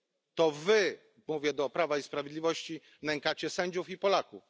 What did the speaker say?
nie. To wy mówię do Prawa i Sprawiedliwości nękacie sędziów i Polaków.